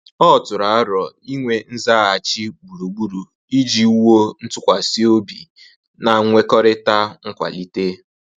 Ọ tụrụ arọ inwe nzaghachi gburugburu iji wuo ntụkwasị obi na nkwekọrịta nkwalite